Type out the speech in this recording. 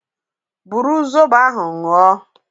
Bụrụ zọbọ ahụ ñyu o